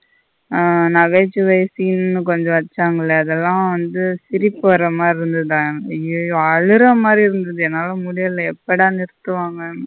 ஆ நகைசுவை scene கொஞ்ச வச்சாங்களே அதுல வந்து சிரிப்பு வர மாதிரி இருந்ததா. அய்யோயோ அழுற மாறி இருந்தது என்னால முடியல எப்பட நிருத்துவங்கனு.